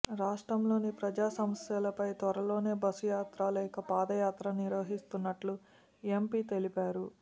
రాష్ట్రంలోని ప్రజా సమస్యలపై త్వరలోనే బస్సు యాత్ర లేక పాదయాత్ర నిర్వహిస్తున్నట్లు ఎంపి తెలిపారు